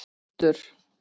Rútur